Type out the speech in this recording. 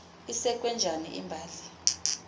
isekwe njani imbali